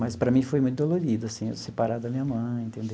Mas para mim foi muito dolorido assim, eu separar da minha mãe entendeu.